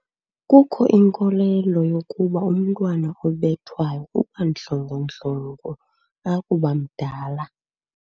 Kukho inkolelo yokuba umntwana obethwayo uba ndlongondlongo akuba mdala.